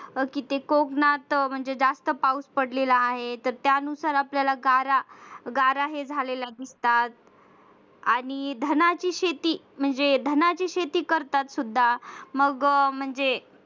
अह की ते कोकणात म्हणजे जास्त पाऊस पडलेला आहे त्यानुसार आपल्याला गारा गारा ही झालेला दिसतात आणि धनाची शेती म्हणजे धनाची शेती करतात सुद्धा